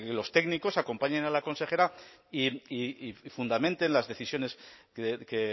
los técnicos acompañen a la consejera y fundamenten las decisiones que